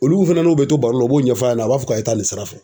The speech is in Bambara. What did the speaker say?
Olu fana n'u be to baro la, u b'o ɲɛfa ɲɛna u b'a fɔ k'a ye taa nin sira fɛ.